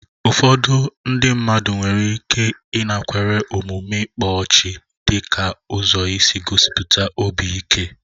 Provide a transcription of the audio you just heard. Ụfọdụ ndị mmadụ nwere ike ịnakwere omume ịkpa ọchị/ngele dị ka ụzọ isi gosipụta obi ike.